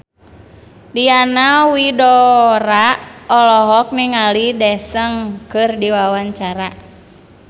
Diana Widoera olohok ningali Daesung keur diwawancara